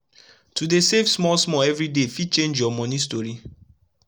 to dey save small small everi day fit change ur moni story